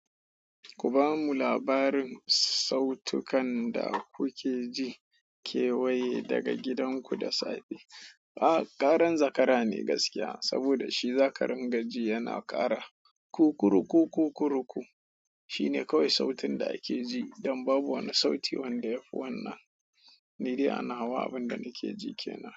Ku ba mu labarin sautukan da kuke ji kewaye daga gidanku da safe. A'a, ƙaran zakara ne gaskiya. Saboda shi zaka rin gaji yana ƙara kukuruku kukuruku. Shi ne kawai sautin da ake ji don babu wani sauti wanda ya fi wannan. Ni dai ana wa abin da nake ji ke nan.